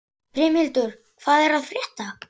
Brimhildur, hvað er að frétta?